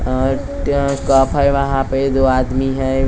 अ ट कफ है वहां पे दो आदमी हैं कूलर हैं।